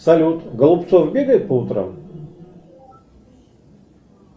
салют голубцов бегает по утрам